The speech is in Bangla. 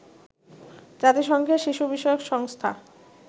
জাতিসংঘের শিশু বিষয়ক সংস্থা